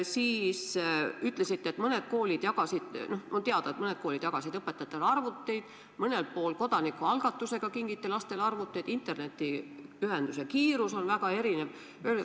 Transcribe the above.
Te ütlesite, et on teada, et mõned koolid jagasid õpetajatele arvuteid, mõnel pool kingiti kodanikualgatuse korras ka lastele arvuteid, kuid internetiühenduse kiirus on väga erinev.